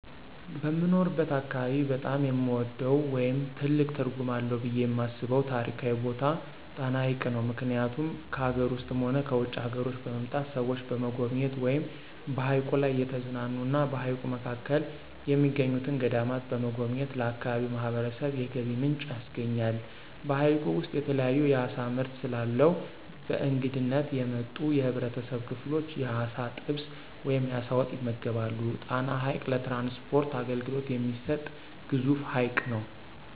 በምኖርበት አካባቢ በጣም የምወደው ወይም ትልቅ ትርጉም አለው ብየ የማስበው ታሪካዊ ቦታ ጣና ሀይቅ ነው። ምክኒያቱም ከአገር ውስጥም ሆነ ከውጭ አገሮች በመምጣት ሰዎች በመጎብኘት ወይም በሀይቁ ላይ እየተዝናኑ እና በሀይቁ መካከል የሚገኙትን ገዳማት በመጎብኘት ለአካባቢው ማህበረሰብ የገቢ ምንጭ ያስገኛል። በሀይቁ ውስጥ የተለያዩ የአሳ ምርት ስለአለው በእንግድነት የመጡ የህብረተሰብ ክፍሎች የአሳ ጥብስ ወይም የአሳ ወጥ ይመገባሉ። ጣና ሀይቅ ለትራንስፖርት አገልግሎት የሚሰጥ ግዙፍ ሀይቅ ነው።